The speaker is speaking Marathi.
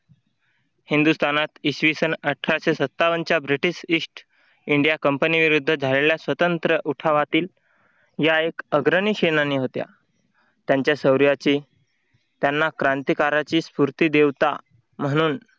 हिंदुस्थानात इसवीस अठराशे सत्तावन्नच्या ब्रिटिश ईस्ट इंडिया कंपनीविरुद्ध झालेल्या स्वतंत्र उठावातील या एक अग्रणी सेनानी होत्या त्यांच्या शौर्याची त्यांना क्रांतिकाराची स्फूर्ती देवता म्हणून